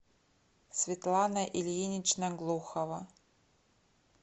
светлана ильинична глухова